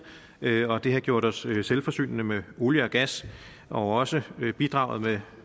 og det har gjort os selvforsynende med olie og gas og også bidraget